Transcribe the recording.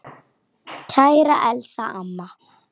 Kæra Elsa amma.